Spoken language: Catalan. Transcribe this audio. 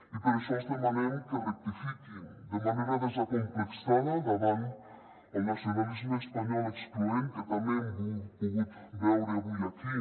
i per això els demanem que rectifiquin de manera desacomplexada davant el nacionalisme espanyol excloent que també hem pogut veure avui aquí